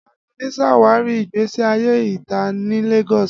Adunni ṣawari igbesi aye ita ni Lagos